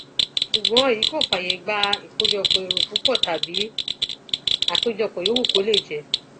ṣùgbọn èyí kò fààyè gba ìkójọpọ èrò púpọ tàbí àpéjọpọ yòówù kó lè jẹ